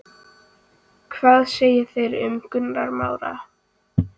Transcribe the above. Hvað segja þeir um Gunnar Már?